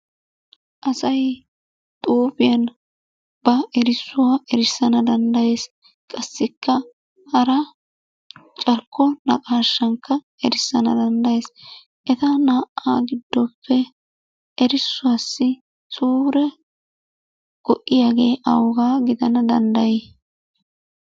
Asay xuufiyan ba erissuwa erissana danddayees. Qassikka hara carkko naqashshankka erissana danddayees. Eta naa"a giddoppe erissuwassi suure go"iyaage awuga giddana dandday?